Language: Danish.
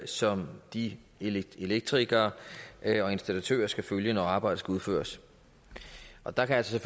som de elektrikere og installatører skal følge når arbejdet skal udføres og der kan altså